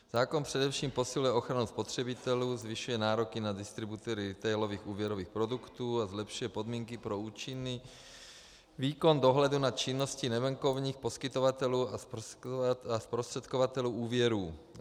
Zákon především posiluje ochranu spotřebitelů, zvyšuje nároky na distributory retailových úvěrových produktů a zlepšuje podmínky pro účinný výkon dohledu nad činností nebankovních poskytovatelů a zprostředkovatelů úvěrů.